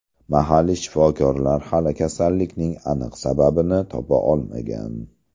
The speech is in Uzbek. Mahalliy shifokorlar hali kasallikning aniq sababini topa olmagan.